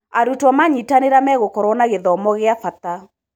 Arutwo manyitanĩra megũkorwo na gĩthomo gĩa bata.